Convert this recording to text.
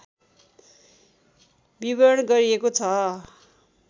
विवरण गरिएको छ